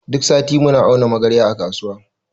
Duk sati muna auno magarya a kasuwa.